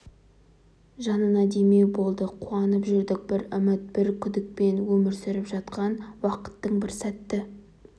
жанына демеу болды қуанып жүрдік бір үміт бір күдікпен өмір сүріп жатқан уақыттың бір сәтті